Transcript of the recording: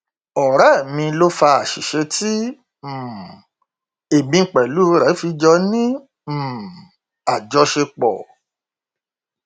ọrẹ mi ló fa àṣìṣe tí um èmi pẹlú rẹ fi jọ ní um àjọṣepọ